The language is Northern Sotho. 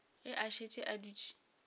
ge a šetše a dutše